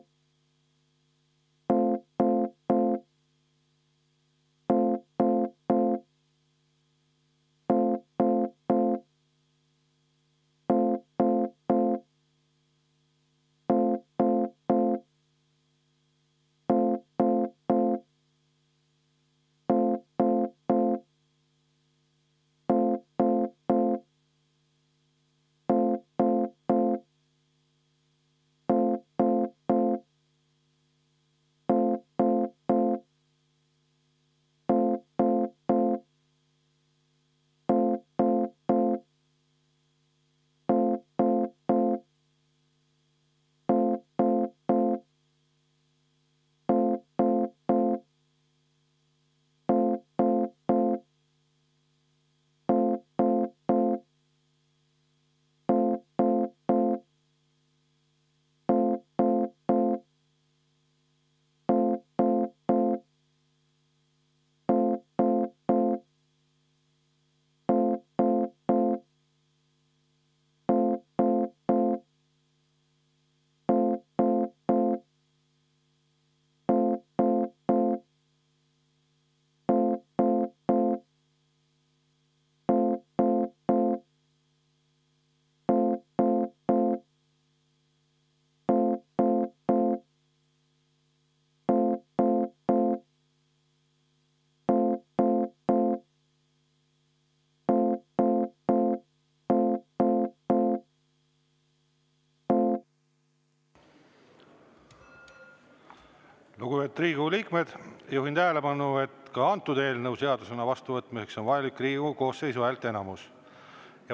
Lugupeetud Riigikogu liikmed, juhin tähelepanu, et ka antud eelnõu seadusena vastuvõtmiseks on vajalik Riigikogu koosseisu häälteenamus.